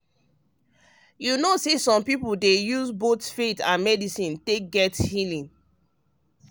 you know say some people dey use both faith and medicine take get healing.